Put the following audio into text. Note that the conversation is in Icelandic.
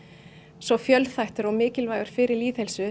svo fjölþættur og mikilvægur fyrir lýðheilsu